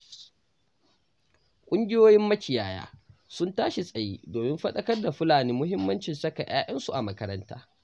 Ƙungiyoyin makiyaya sun tashi tsaye domin faɗakar da Fulani muhimmacin saka 'ya'yansu a makaranta.